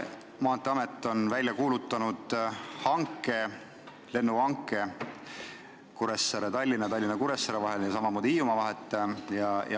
Maanteeamet on välja kuulutanud hanke Kuressaare–Tallinna, Tallinna–Kuressaare lendudeks ja samamoodi Hiiumaa lendudeks.